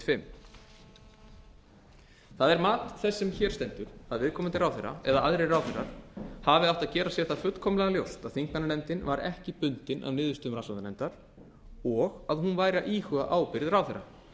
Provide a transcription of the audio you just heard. fimm það er mat þess sem hér stendur að viðkomandi ráðherra eða aðrir ráðherrar hafi átt að gera sér það fullkomlega ljóst að þingmannanefndin var ekki bundin af niðurstöðum rannsóknarnefndar og að hún væri að íhuga ábyrgð ráðherra